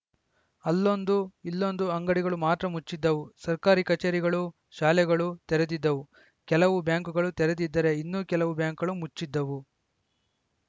ಅಲ್ಲೊಂದು ಇಲ್ಲೊಂದು ಅಂಗಡಿಗಳು ಮಾತ್ರ ಮುಚ್ಚಿದ್ದವು ಸರ್ಕಾರಿ ಕಚೇರಿಗಳು ಶಾಲೆಗಳು ತೆರೆದಿದ್ದವು ಕೆಲವು ಬ್ಯಾಂಕುಗಳು ತೆರೆದಿದ್ದರೆ ಇನ್ನೂ ಕೆಲವು ಬ್ಯಾಂಕುಗಳು ಮುಚ್ಚಿದ್ದವು